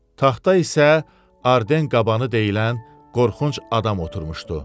Taxta isə Arden qabanı deyilən qorxunc adam oturmuşdu.